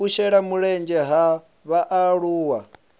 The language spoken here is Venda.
u shela mulenzhe ha vhaaluwa